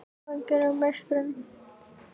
Hvað gerir þær að meisturum?